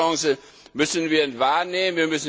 Diese Chance müssen wir wahrnehmen.